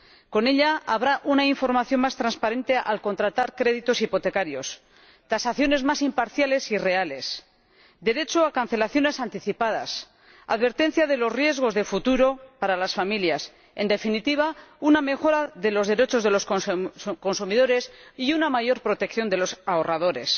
Con ella habrá una información más transparente al contratar créditos hipotecarios, tasaciones más imparciales y reales, derecho a cancelaciones anticipadas y advertencia de los riesgos de futuro para las familias en definitiva, una mejora de los derechos de los consumidores y una mayor protección de los ahorradores.